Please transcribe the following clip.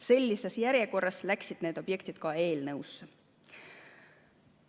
Sellises järjekorras läksid need objektid ka eelnõusse.